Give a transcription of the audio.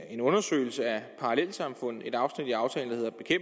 en undersøgelse af parallelsamfund et afsnit i aftalen